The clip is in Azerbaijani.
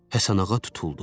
Həsənağa tutuldu.